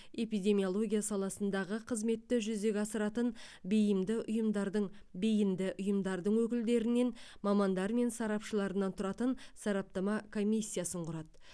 эпидемиология саласындағы қызметті жүзеге асыратын бейімді ұйымдардың бейінді ұйымдардың өкілдерінен мамандары мен сарапшыларынан тұратын сараптама комиссиясын құрады